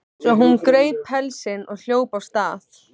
Svo hún greip pelsinn og hljóp af stað.